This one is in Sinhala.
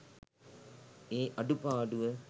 ඒ අඩුපාඩුව